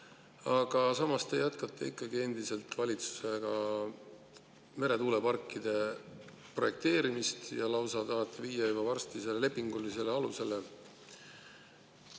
Aga samas te jätkate valitsuses endiselt meretuuleparkide projekteerimist ja tahate viia selle juba varsti lausa lepingulisele alusele.